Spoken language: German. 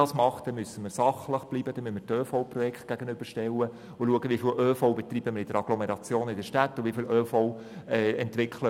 Ich würde heute gerne noch über dieses Geschäft abstimmen.